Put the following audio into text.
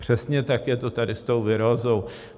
Přesně tak je to tady s tou virózou.